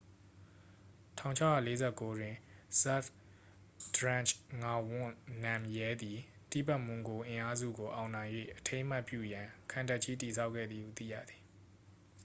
1649တွင် ဇတ်ဘ်ဒရန့်ဂျ် ငါဝန့် နမ်ရဲသည် တိဘက်မွန်ဂို အင်အားစုကို အောင်နိုင်၍ အထိမ်းအမှတ်ပြုရန် ခံတပ်ကြီး တည်ဆောက်ခဲ့သည်ဟု သိရသည်